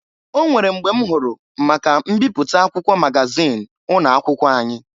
O nwere mgbe m hụrụ maka mbịpụta akwụkwọ magazin ụnọakwụkwọ anyị.